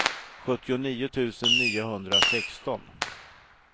sjuttionio tusen niohundrasexton